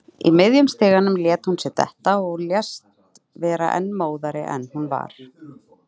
Í miðjum stiganum lét hún sig detta og lést vera enn móðari en hún var.